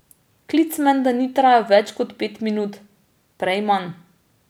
Klic menda ni trajal več kot pet minut, prej manj.